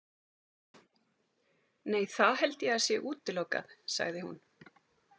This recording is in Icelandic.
Nei, það held ég að sé útilokað, sagði hún.